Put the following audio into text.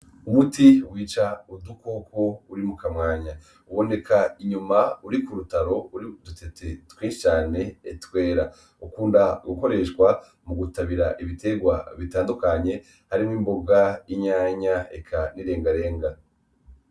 Umuti wica udukoko uri mukamwanya ,uboneka inyuma uri kurutaro urik'udutete twinshi cane twera, ukunda gukoreshwa mugutabira ibiterwa bitandukanye harimwo imboga ,inyanya eka n'irengarenga.